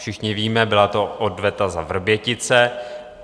Všichni víme, byla to odveta za Vrbětice.